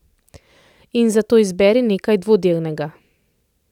In za to izberi nekaj dvodelnega!